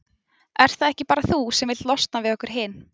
Ert það ekki bara þú sem vilt losna við okkur hin?